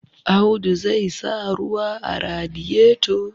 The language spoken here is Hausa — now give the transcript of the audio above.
Audu zai sa ruwa a radiyeto